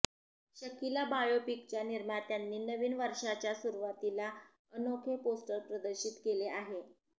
शकीला बायोपिकच्या निर्मात्यांनी नवीन वर्षाच्या सुरूवातीला अनोखे पोस्टर प्रदर्शित केले आहे